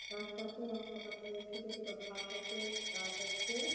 রাস্তাতে রাস্তার পাশে-এ ছোট ছোট ঘাস আছে গাছ আছে।